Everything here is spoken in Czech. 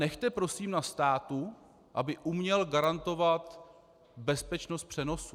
Nechte prosím na státu, aby uměl garantovat bezpečnost přenosu.